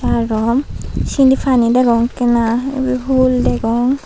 arom sinni pani degong ekkena ube hul degong.